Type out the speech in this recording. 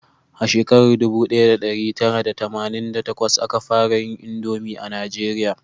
A shekara dubu daya da dari tara da tamanin da takwas a ka fara yin indomi a najeriya